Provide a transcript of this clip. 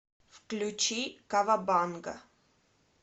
включи кавабанга